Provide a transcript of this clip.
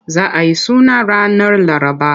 Za a yi suna ranar Laraba.